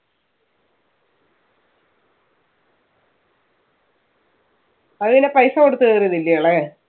അത് പിന്നെ പൈസ കൊടുത്ത് കേറിയതല്ലയോ ഇളയവൻ.